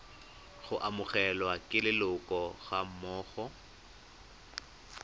go amogelwa ke leloko gammogo